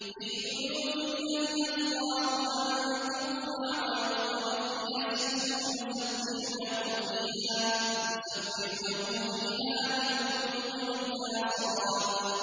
فِي بُيُوتٍ أَذِنَ اللَّهُ أَن تُرْفَعَ وَيُذْكَرَ فِيهَا اسْمُهُ يُسَبِّحُ لَهُ فِيهَا بِالْغُدُوِّ وَالْآصَالِ